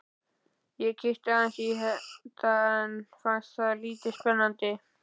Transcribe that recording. Ég kíkti aðeins í þetta en fannst það lítið spennandi.